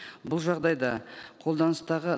бұл жағдайда қолданыстағы